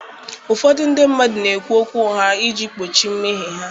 Ụfọdụ ndị mmadụ na-ekwu okwu ugha iji kpuchie mmehie ha.